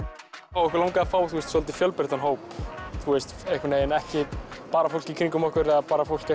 okkur langaði að fá svolítið fjölbreyttan hóp ekki bara fólk í kringum okkur eða bara fólk